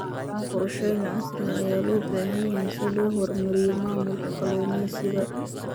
Qorshayn casri ah ayaa loo baahan yahay si loo horumariyo maamulka kalluumaysiga.